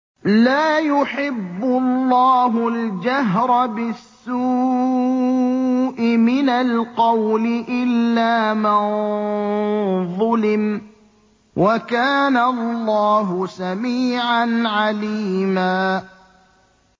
۞ لَّا يُحِبُّ اللَّهُ الْجَهْرَ بِالسُّوءِ مِنَ الْقَوْلِ إِلَّا مَن ظُلِمَ ۚ وَكَانَ اللَّهُ سَمِيعًا عَلِيمًا